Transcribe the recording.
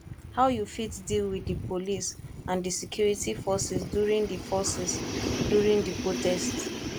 how you fit deal with di police and di security forces during di forces during di protest